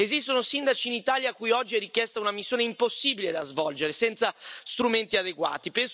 Esistono sindaci in Italia a cui oggi è richiesta una missione impossibile da svolgere senza strumenti adeguati.